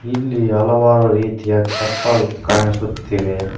ಇಲ್ಲಿ ಹಲವಾರು ರೀತಿಯ ಚಪ್ಪಲ್ ಕಾಣಿಸುತ್ತಿವೆ.